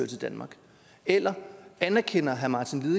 til danmark eller anerkender herre martin